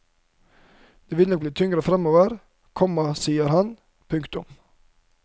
Det vil nok bli tyngre fremover, komma sier han. punktum